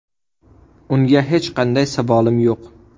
Unga hech qanday savolim yo‘q.